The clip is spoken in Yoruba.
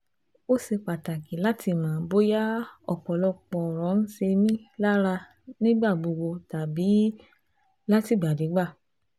ó ṣe pàtàkì láti mọ̀ bóyá ọ̀pọ̀lọpọ̀ ọ̀rọ̀ ń ṣe mí lára nígbà gbogbo tàbí látìgbàdégbà